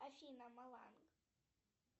афина маланг